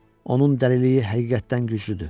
Onun dəliliyi həqiqətdən güclüdür.